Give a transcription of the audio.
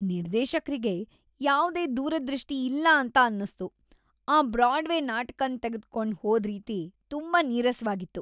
ನಿರ್ದೇಶಕ್ರಿಗೆ ಯಾವ್ದೇ ದೂರದೃಷ್ಟಿ ಇಲ್ಲ ಅಂತ ಅನ್ನುಸ್ತು. ಆ ಬ್ರಾಡ್ವೇ ನಾಟಕನ್ ತೆಗ್ದುಕೊಂಡ್ ಹೋದ್ ರೀತಿ ತುಂಬಾ ನೀರಸವಾಗಿತ್ತು.